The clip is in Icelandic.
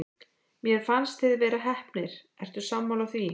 Mér fannst þið vera heppnir, ertu sammála því?